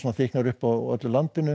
þykknar upp á öllu landinu